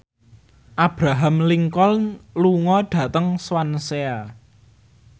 Abraham Lincoln lunga dhateng Swansea